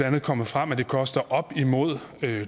andet kommet frem at det koster op imod